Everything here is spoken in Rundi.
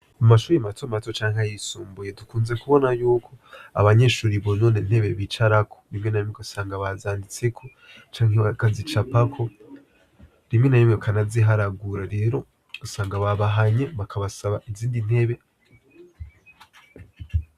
Mu mashure mato mato canke ayisumbuye dukunze kubona yuko abanyeshure bonona intebe bicarako. Rimwe na rimwe ugasanga bazanditseko canke bakazicapako, rimwe na rimwe bakanaziharagura. Rero ugasanga babahanye bakabasaba izindi ntebe.